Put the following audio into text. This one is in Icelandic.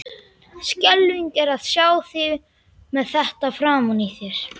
Skelfing er að sjá þig með þetta framan í þér!